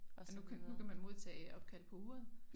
Og nu kan nu kan man modtage opkald på uret